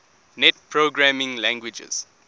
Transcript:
net programming languages